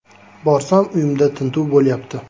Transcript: Borsam, uyimda tintuv bo‘lyapti.